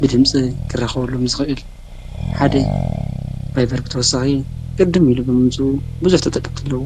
ብድምፂ ክራከበሎም ዝክእል ሓደ እዩ ። ቫይቨር ብተወሳኪ ቅድም ኢሉ ብምምፅኡ ብዙሕ ተጠቀምቲ አለዎ።